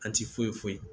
An ti foyi foyi